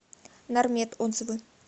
нармед отзывы